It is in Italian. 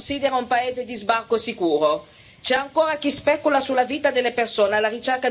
Eppure, nell'inferno della Libia c'è ancora chi la considera un paese di sbarco sicuro.